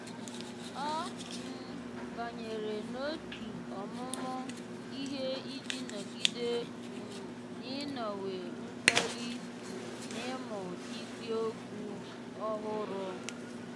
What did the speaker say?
ọ́ um bányèrè n’òtù ọ́mụ́mụ́ ihe iji nọ́gídé um n’ị́nọ́wé mkpali um n’ị́mụ́ isiokwu ọ́hụ́rụ́.